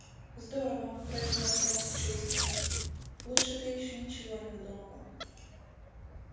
здорово произнёс рон с чувством лучше ты ещё ничего не выдумывал